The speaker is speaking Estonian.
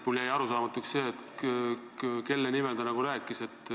Mulle jäi arusaamatuks see, kelle nimel ta rääkis.